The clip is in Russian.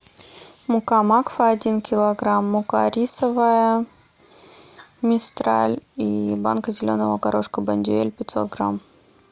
мука макфа один килограмм мука рисовая мистраль и банка зеленого горошка бондюэль пятьсот грамм